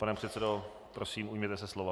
Pane předsedo, prosím ujměte se slova.